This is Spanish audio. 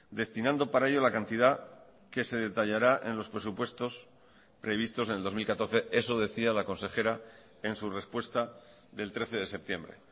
destinando para ello la cantidad que se detallará en los presupuestos previstos en el dos mil catorce eso decía la consejera en su respuesta del trece de septiembre